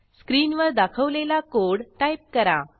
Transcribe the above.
स्क्रीनवर दाखवलेला code type करा